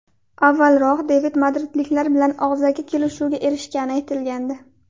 Avvalroq David madridliklar bilan og‘zaki kelishuvga erishgani aytilgandi.